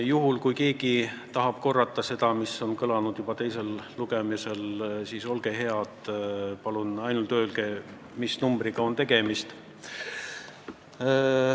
Juhul kui keegi tahab, et ma kordan seda, mis on juba teisel lugemisel kõlanud, siis olge head, palun öelge ainult, mis numbriga on tegemist.